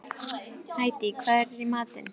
Hædý, hvað er í matinn?